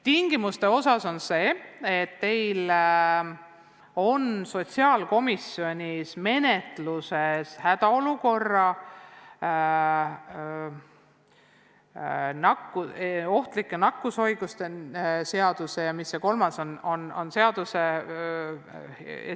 Tingimustega seoses on teil sotsiaalkomisjonis menetlusel hädaolukorra, ohtlike nakkushaiguste ja – mis see kolmas oligi?